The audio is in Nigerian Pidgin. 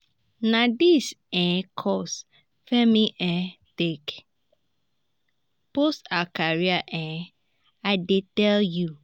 na dis um course femi um take boost her career um i dey tell you